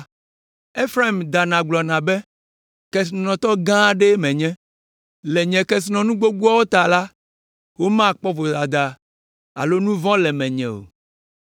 Efraim dana gblɔna be: “Kesinɔtɔ gã aɖee menye! Le nye kesinɔnu gbogboawo ta la, womakpɔ vodada alo nu vɔ̃ le menye o.”